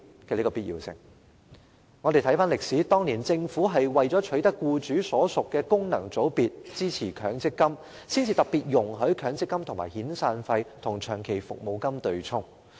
回看歷史，政府當年為了爭取僱主所屬的功能界別支持強積金計劃，才特別容許強積金可與遣散費和長期服務金對沖。